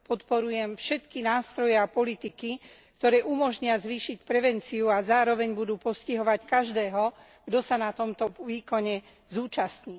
Podporujem všetky nástroje a politiky, ktoré umožnia zvýšiť prevenciu a zároveň budú postihovať každého, kto sa na tomto výkone zúčastní.